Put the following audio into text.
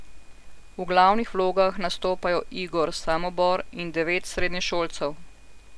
V glavnih vlogah nastopajo Igor Samobor in devet srednješolcev.